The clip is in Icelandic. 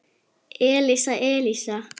Elísa, Elísa!